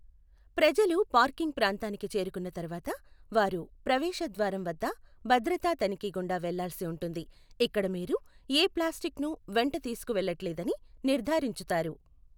ప్రజలు పార్కింగ్ ప్రాంతానికి చేరుకున్న తర్వాత, వారు ప్రవేశ ద్వారం వద్ద భద్రతా తనిఖీ గుండా వెళ్ళాల్సి ఉంటుంది, ఇక్కడ మీరు ఏ ప్లాస్టిక్ను వెంట తీసుకువెళ్లట్లేదని నిర్ధారించుతారు.